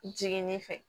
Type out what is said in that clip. Jiginni fɛ